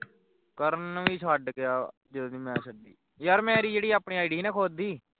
ਕਰਨ ਵੀ ਛੱਡ ਗਿਆ ਜਦੋਂ ਦੀ ਮੈਂ ਅੱਡੀ ਯਾਰ ਮੇਰੀ ਜਿਹੜੀ ਆਪਣੀ id ਸੀਨਾ ਖੁਦ ਦੀ